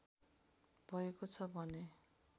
भएको छ भने